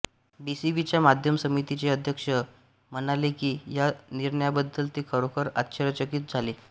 बीसीबीच्या माध्यम समितीचे अध्यक्ष म्हणाले की या निर्णयाबद्दल ते खरोखर आश्चर्यचकित झाले